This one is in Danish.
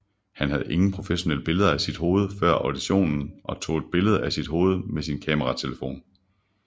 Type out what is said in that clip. Han havde ingen professionelle billeder af sit hoved før auditionen og tog et billede af sit hoved med sin kameratelefon